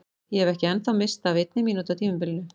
Ég hef ekki ennþá misst af einni mínútu á tímabilinu!